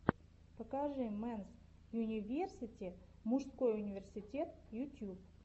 покажи мэнс юниверсити мужской университет ютьюб